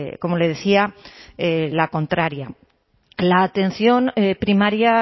como le decía la contraria la atención primaria